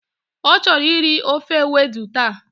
O choro iri ofe ewedú ta.